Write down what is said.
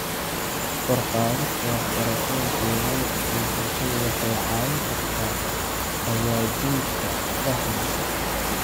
Kor u qaadista waxbarashada deegaanka ee bulshada waxay caawin kartaa hagaajinta fahamka.